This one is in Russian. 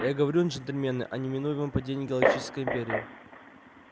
я говорю джентльмены о неминуемом падении галактической империи